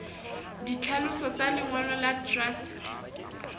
ditlhaloso tsa lengolo la truste